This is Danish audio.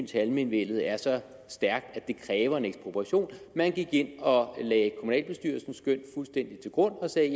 til almenvellet er så stærkt at det kræver en ekspropriation man gik ind og lagde kommunalbestyrelsens skøn fuldstændig til grund og sagde